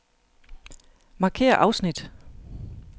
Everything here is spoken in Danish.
Markér afsnit.